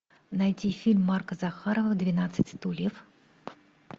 найти фильм марка захарова двенадцать стульев